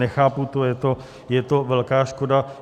Nechápu to, je to velká škoda.